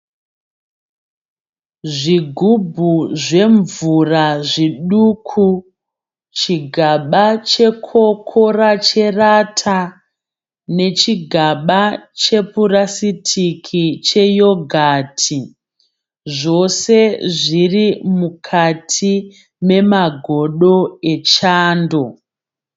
Zvigubhu zvemvura zviduku, chigaba chekokora cherata nechigaba chepurasitiki cheyogati, zvose zviri mukati memagodo echando.